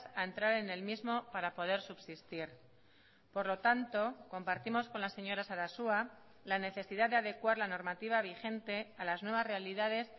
a entrar en el mismo para poder subsistir por lo tanto compartimos con la señora sarasua la necesidad de adecuar la normativa vigente a las nuevas realidades